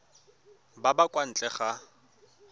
ba ba kwa ntle ga